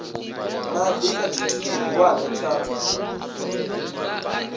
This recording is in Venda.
madi kha tshithu tshihulwane tsha